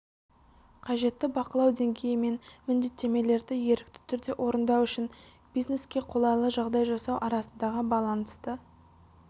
қажетті бақылау деңгейі мен міндеттемелерді ерікті түрде орындау үшін бизнеске қолайлы жағдай жасау арасындағы балансты